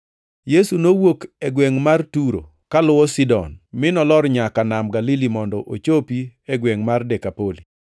Yesu nowuok e gwengʼ mar Turo kaluwo Sidon, mi nolor nyaka Nam Galili mondo ochopi e gwengʼ mar Dekapoli.